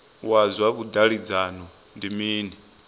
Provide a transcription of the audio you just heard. wa zwa vhudavhidzano ndi mini